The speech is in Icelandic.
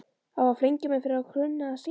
Á að flengja mig fyrir að kunna að syngja?